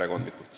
Aeg on läbi.